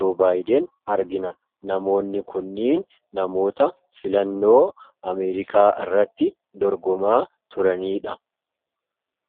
Joobaayiden argina. Namoonni kunniin namoota filannoo Ameerikaa irratti dorgomaa turaniidha.